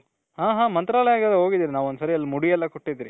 ಹಾ ಹಾ ಮಂತ್ರಾಲಯಗ್ ಹೋಗಿದಿವಿ. ಒಂದು ಸಲಿ ಮೂಡಿ ಎಲ್ಲಾ ಕೊಟ್ಟಿದಿವಿ.